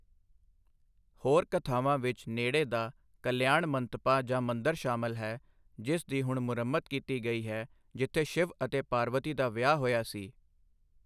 ਹੋਰ ਕਥਾਵਾਂ ਵਿੱਚ ਨੇੜੇ ਦਾ ਕਲਿਆਣਮੰਤਪਾ ਜਾਂ ਮੰਦਰ ਸ਼ਾਮਲ ਹੈ, ਜਿਸ ਦੀ ਹੁਣ ਮੁਰੰਮਤ ਕੀਤੀ ਗਈ ਹੈ, ਜਿੱਥੇ ਸ਼ਿਵ ਅਤੇ ਪਾਰਵਤੀ ਦਾ ਵਿਆਹ ਹੋਇਆ ਸੀ।